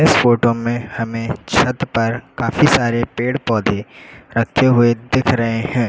इस फोटो में हमें छत पर काफी सारे पेड़ पौधे रखे हुए दिख रहे हैं।